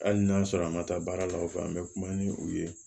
Hali n'a sɔrɔ a ma taa baara la o fɛ an bɛ kuma ni u ye